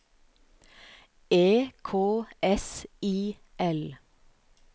E K S I L